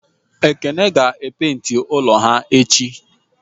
Ekene ga e penti ulo ha echi